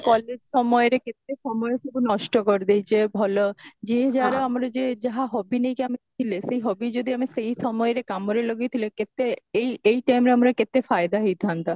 college ସମୟରେ କେତେ ସମୟ ସବୁ ନଷ୍ଟ କରିଦେଇଚେ ଭଲ ଯିଏ ଯାହାର ଆମର ଯେ ଯାହା hobby ନେଇକି ଆମେ ଥିଲେ ସେଇ hobby ଯଦି ଆମେ ସେଇ ସମୟରେ କାମରେ ଲଗେଇଥିଲେ କେତେ ଏଇ ଏଇ timeରେ ଆମର କେତେ ଫାଇଦା ହେଇଥାନ୍ତା